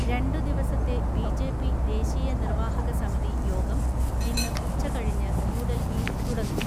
രണ്ടുദിവസത്തെ ബി.ജെ.പി ദേശീയ നിർവാഹകസമിതി യോഗം ഇന്ന് ഉച്ചകഴിഞ്ഞ് ന്യൂഡൽഹിയിൽ തുടങ്ങും.